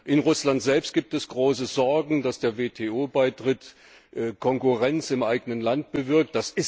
In Russland selbst gibt es große Sorgen, dass der WTO Beitritt Konkurrenz im eigenen Land bewirkt.